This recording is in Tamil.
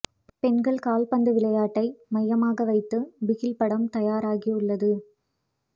பெண்கள் கால்பந்து விளையாட்டை மையமாக வைத்து பிகில் படம் தயாராகி உள்ளது